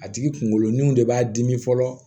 A tigi kunkolo niw de b'a dimi fɔlɔ